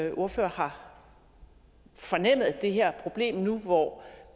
ordfører har fornemmet det her problem nu hvor